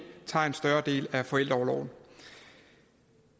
tager en større del af forældreorloven